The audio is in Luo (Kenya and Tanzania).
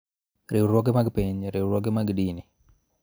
Riwruoge mag piny, riwruoge mag dini,